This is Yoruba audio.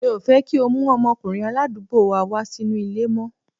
Mi ò fẹ́ kí o mú ọmọkùnrin aládùúgbò wa wá sínú ilé mọ́.